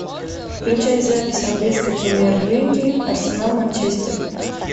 включай запись английской премьер лиги арсенал манчестер